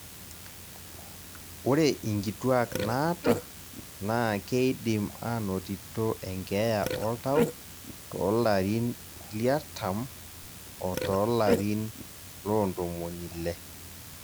ore inkituak naata naa keidim anotito enkeeya oltau to larin liartam o tolarin loo ntomoni ile